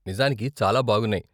నిజానికి చాలా బాగున్నాయి.